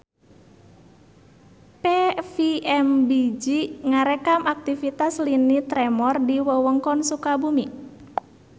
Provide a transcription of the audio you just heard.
PVMBG ngarekam aktivitas lini tremor di wewengkon Sukabumi